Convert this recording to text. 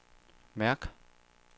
mærk